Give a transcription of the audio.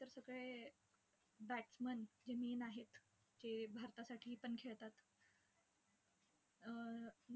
Batsman जे main आहेत, जे भारतासाठी पण खेळतात अं